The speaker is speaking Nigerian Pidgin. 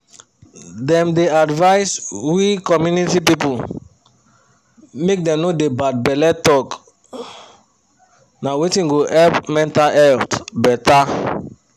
dem dey advise we community people make dem no dey bad belle talk na wetin go help mental health better